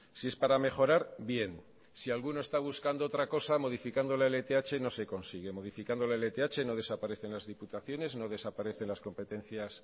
si es para mejorar bien si alguno está buscando otra cosa modificando la lth no se consigue modificando la lth no desaparecen las diputaciones no desaparecen las competencias